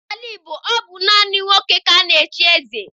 N'ala Igbo, ọ bụ naanị nwoke ka a na-echi eze.